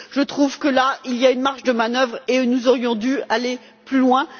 Je trouve qu'il y a là une marge de manœuvre, et nous aurions dû aller plus loin